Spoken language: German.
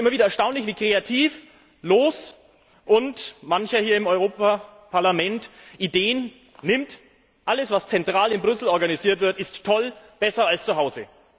Es ist immer wieder erstaunlich, wie kreativlos manch einer hier im Europaparlament behauptet Alles, was zentral in Brüssel organisiert wird, ist toll, besser als zu Hause.